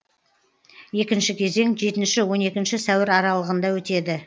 екінші кезең жетінші он екінші сәуір аралығында өтеді